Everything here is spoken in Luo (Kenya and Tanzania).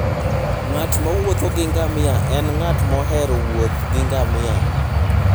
Ng'at mowuotho gi ngamia en ng'at mohero wuoth gi ngamia.